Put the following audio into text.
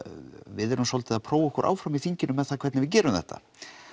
við erum svolítið að prófa okkur áfram í þinginu með það hvernig við gerum þetta